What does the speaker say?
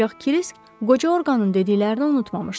Ancaq Kirisk qoca orqanın dediklərini unutmamışdı.